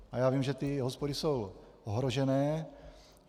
A já vím, že ty hospody jsou ohrožené.